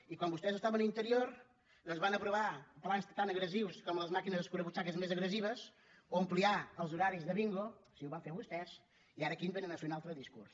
i quan vostès estaven a interior doncs van aprovar plans tan agressius com les màquines escurabutxaques més agressives o ampliar els horaris de bingo sí ho van fer vostès i ara aquí ens vénen a fer un altre discurs